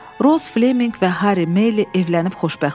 Roz Fleminq və Harri Meyli evlənib xoşbəxt oldular.